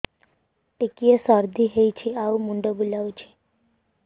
ଟିକିଏ ସର୍ଦ୍ଦି ହେଇଚି ଆଉ ମୁଣ୍ଡ ବୁଲାଉଛି